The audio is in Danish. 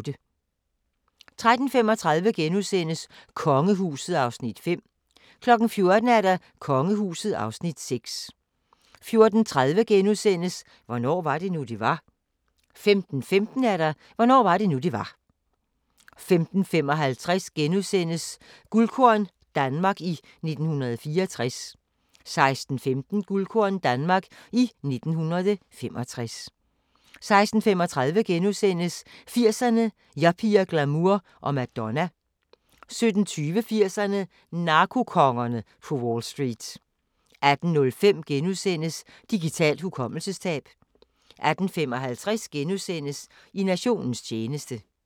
13:35: Kongehuset (Afs. 5)* 14:00: Kongehuset (Afs. 6) 14:30: Hvornår var det nu, det var? * 15:15: Hvornår var det nu det var 15:55: Guldkorn - Danmark i 1964 * 16:15: Guldkorn - Danmark i 1965 16:35: 80'erne: Yuppier, glamour og Madonna * 17:20: 80'erne: Narkokongerne på Wall Street 18:05: Digitalt hukommelsestab * 18:55: I nationens tjeneste *